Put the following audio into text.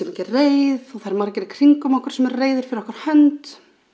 ekki reið og það eru margir í kringum okkur sem eur reiðir fyrir okkar hönd